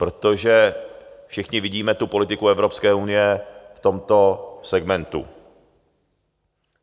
Protože všichni vidíme tu politiku Evropské unie v tomto segmentu.